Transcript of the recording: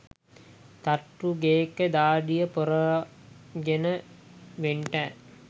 තට්ටු ගේක දාඩිය පෙරාගෙන වෙන්ටෑ